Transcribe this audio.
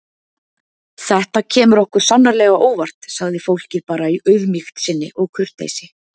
Þetta kemur okkur sannarlega á óvart, sagði fólkið bara í auðmýkt sinni og kurteisi.